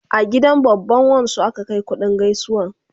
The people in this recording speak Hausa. A gidan babban wan su aka Kai kuɗin gaisuwan